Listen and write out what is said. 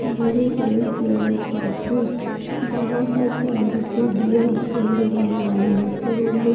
ये एक jeweller shop है जंहा पर चांदी के दिया स्टैंड डिजाइन वाले रखे हुए हैं।